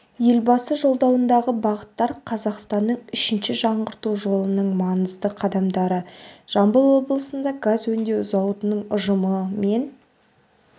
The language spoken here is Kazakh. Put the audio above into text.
елбасы жолдауындағы бағыттар қазақстанның үшінші жаңғырту жолының маңызды қадамдары жамбыл облысында газ өңдеу зауытының ұжымы мен